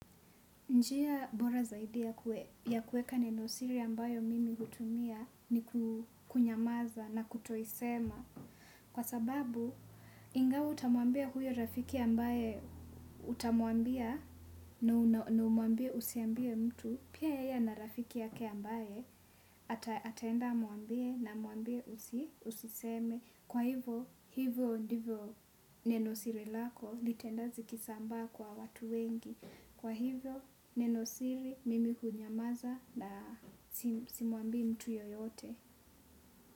Njia bora zaidia ya kuweka neno siri ambayo mimi hutumia ni kunyamaza na kutoisema. Kwa sababu, ingawa utamuambia huyo rafiki ambaye utamuambia na umuambie usiambie mtu, pia yeye ana rafiki yake ambaye ataenda amuambie na amuambie usiseme. Kwa hivyo, hivyo ndivyo nenosiri lako litaenda zikisambaa kwa watu wengi. Kwa hivo neno siri mimi hunyamaza na simwambii mtu yeyote.